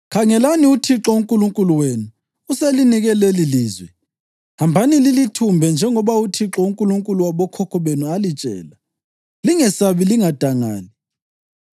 Khangelani, uThixo uNkulunkulu wenu uselinike lelilizwe. Hambani lilithumbe njengoba uThixo, uNkulunkulu wabokhokho benu alitshela. Lingesabi; lingadangali.’